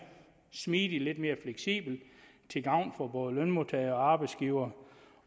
smidig lidt mere fleksibel til gavn for både lønmodtagere og arbejdsgivere